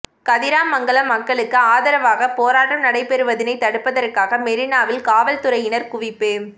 கதிராமங்கலம் மக்களுக்கு ஆதரவாக போராட்டம் நடைபெறுவதனை தடுப்பதற்காக மெரினாவில் காவல்துறையினர் குவிப்பு